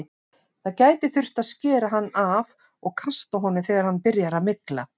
Það gæti þurft að skera hann af og kasta honum þegar hann byrjar að mygla.